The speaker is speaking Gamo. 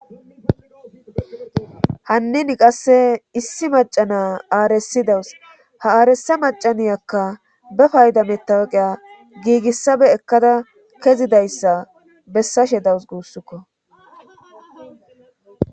hannin qasse issi macana aaresidawus ha aaresa macaniyakka be payda metawaqiya giigissabe ekkada kezidayssa bessashe dawus guussukko